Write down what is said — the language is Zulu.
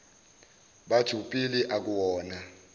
batho pele akuwona